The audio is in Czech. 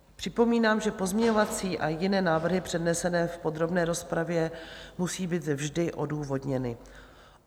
Připomínám, že pozměňovací a jiné návrhy přednesené v podrobné rozpravě musí být vždy odůvodněny.